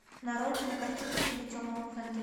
нарой кинокартину в стиле темного фэнтези